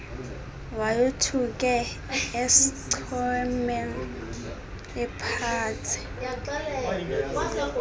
wayothuke uschoeman ephatshe